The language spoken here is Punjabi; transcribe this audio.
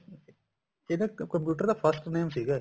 ਇਹਦਾ computer ਦਾ first name ਸੀਗਾ